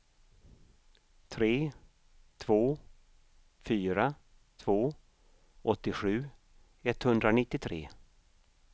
tre två fyra två åttiosju etthundranittiotre